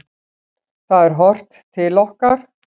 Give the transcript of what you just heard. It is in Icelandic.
Það er horft til okkar.